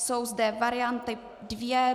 Jsou zde varianty dvě.